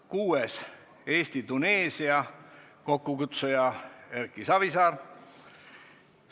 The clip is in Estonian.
Kuuendaks, Eesti-Tuneesia, kokkukutsuja on Erki Savisaar.